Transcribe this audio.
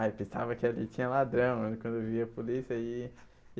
Aí pensava que ali tinha ladrão, quando eu via a polícia e.